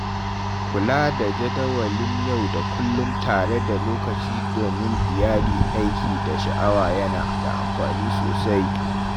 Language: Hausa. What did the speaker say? Kula da jadawalin yau da kullum tare da lokaci domin iyali, aiki, da sha’awa yana da amfani sosai.